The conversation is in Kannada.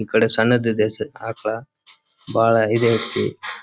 ಈ ಕಡೆ ಸಣ್ಣದ್ ಇದೆ ಸ ಆಕ್ಳ ಬಹಳ ಇದೆ ಐತಿ.